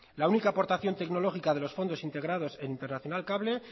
la única aportación tecnológica de los fondos integrados en internacional cable